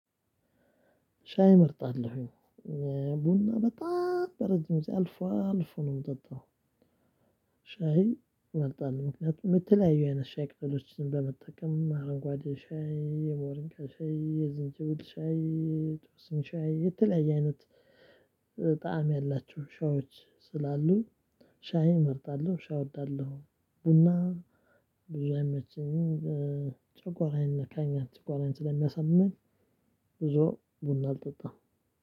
ሻይ መርጣለሁኝ ቡና በጣም በረጅም ጊዜ አልፎ አልፎ ነው ምጠጣው። ሻይ እመርጣለሁ ምክንያቱም የተለያዩ አይነት ሻይ ቅጠሎችን በመጠቀም አረንጓዴ ሻይ የሞሪንጋ ሻይ የዝንጅብል ሻይ የጦስኝ ሻይ የተለያየ አይነት ጣዕም ያላችሁ ሻዮች ስላሉ። ሻይን እመርጣለሁ ሻይ እወዳለሁ። ቡና ብዙ አይመቸኝም። ጨጓራዬን ይነካኛል ጨጓራዬን ስለሚያሳምመኝ። ብዙ ቡና አልጠጣም።